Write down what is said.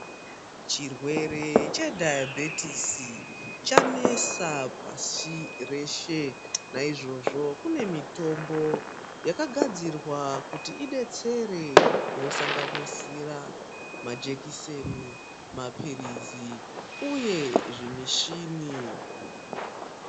Chirwere chedhaibhitisi chanesa pashi reshe. Naizvozvo kune mitombo yakadadzirwa kuti ibetsere inosanganisira majekiseni, maphirizi uye zvimichini.